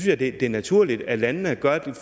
jeg det er naturligt at landene